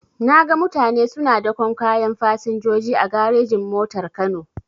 Naga mutane suna daƙon kayan fasinjoji a garejin-motar kano.